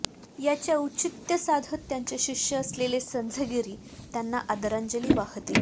याचे औचित्य साधत त्यांचे शिष्य असलेले संझगिरी त्यांना आदरांजली वाहतील